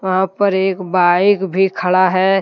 हां पर एक बाइक भी खड़ा है।